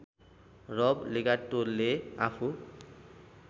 रब लेगाटोले आफू